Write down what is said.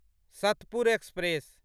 Satpur express